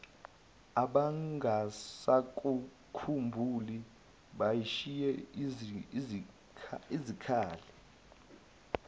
abangasakukhumbuli bashiye izikhala